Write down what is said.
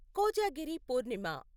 Kojagiri Purnima